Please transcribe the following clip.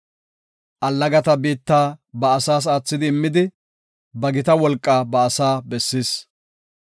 Allagata biitta ba asaas aathidi immidi, ba gita wolqaa ba asaa bessis.